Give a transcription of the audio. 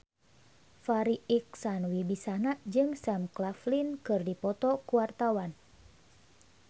Farri Icksan Wibisana jeung Sam Claflin keur dipoto ku wartawan